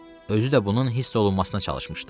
Özü də bunun hiss olunmasına çalışmışdı.